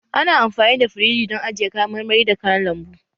Ana amfani da firiji don ajiye kayan marmari da kayan lambu